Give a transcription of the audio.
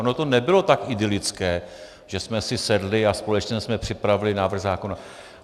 Ono to nebylo tak idylické, že jsme si sedli a společně jsme připravili návrh zákona.